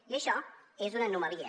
i això és una anomalia